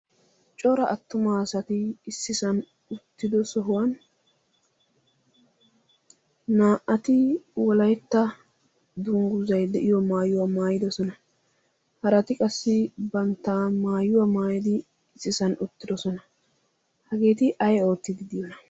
cora attumaa asati issisan uttido sohuwan naa'ati wolaetta dungguzay de'iyo maayuwaa maayidosona. harati qassi bantta maayuwaa maayadi issisan uttidosona hageeti ay oottidi diyoona?